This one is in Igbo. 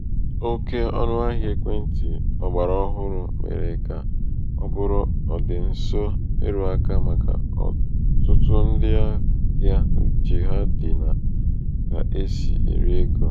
um oke ọnụ̄ahịa ekwentị̄ ọ̀gbàrà ọhụrụ̣ mèrè kà ọ bụrụ ọ̀dị̀ǹso erūākā màkà ọ̀tụtụ ndị ahịa uchè ha dị̀ nà um kà e sì èri egō.